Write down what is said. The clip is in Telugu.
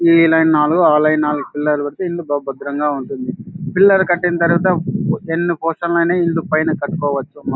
ఈ లైన్ నాలుగు ఆ లైన్ నాలుగు పిల్లర్ లు కడితే ఇల్లు బ బాధారంగా ఉంటది. పిల్లర్ కట్టిన తర్వాత ఎన్ని పోర్స్న లు ిన పైన కట్టుకోవచ్చు.